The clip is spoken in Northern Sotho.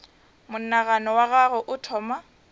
monagano wa gagwe o thoma